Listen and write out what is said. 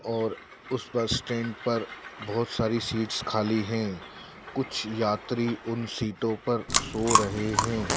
और उस bus stand पर बहोत सारी सीट्स खाली हैं कुछ यात्री उन सीटों पर सो रहे हैं।